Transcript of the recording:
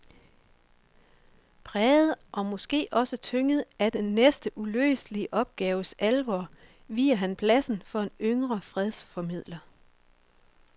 Præget og måske også tynget af den næsten uløselige opgaves alvor viger han pladsen for en yngre fredsformidler.